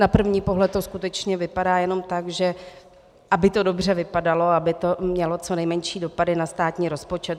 Na první pohled to skutečně vypadá jenom tak, že aby to dobře vypadalo, aby to mělo co nejmenší dopady na státní rozpočet.